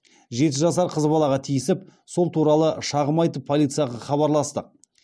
жеті жасар қыз балаға тиісіп сол туралы шағым айтып полицияға хабарластық